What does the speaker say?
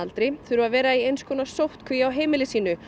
þurfa að vera í eins konar sóttkví á heimili sínu